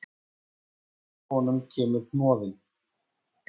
Upp úr honum kemur hnoðinn.